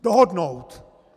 Dohodnout.